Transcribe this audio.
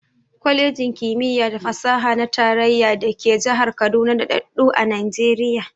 Kwalejin ƙimiya da fasaha na tarayya da ke jihar Kaduna daɗaɗɗu a Najiriya.